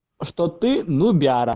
что ты нубяра